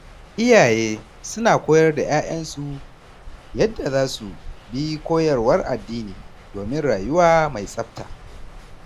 Iyaye suna koyar da ‘ya’yansu yadda za su bi koyarwar addini domin rayuwa mai tsafta.